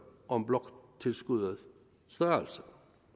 om bloktilskuddets størrelse